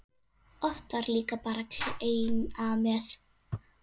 Oft var líka kleina með.